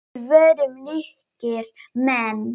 Við vorum ríkir menn.